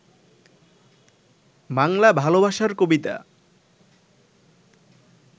বাংলা ভালবাসার কবিতা